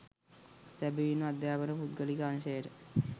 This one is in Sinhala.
සැබැවින්ම අධ්‍යාපන පුද්ගලික අංශයට